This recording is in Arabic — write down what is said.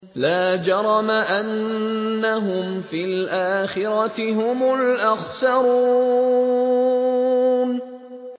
لَا جَرَمَ أَنَّهُمْ فِي الْآخِرَةِ هُمُ الْأَخْسَرُونَ